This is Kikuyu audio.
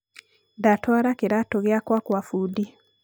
ndatwara kĩratũ giakwa gwa bundi.